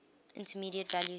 intermediate value theorem